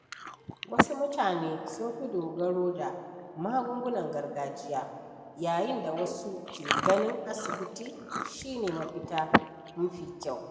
Wasu mutane sun fi dogaro da magungunan gargajiya, yayin da wasu ke ganin asibiti shi ne mafita mafi kyau.